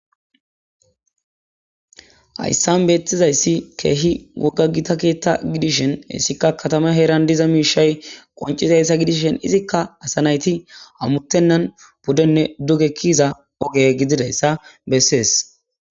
Hayssan beeththizayssi keehi wogga githa keeththa gidishin issikka kathama heeran diza miishshay qonccizayssa gidishen izikka asa naythi hammuththennan puddenne duge kiyiza oge gididayssa bessees.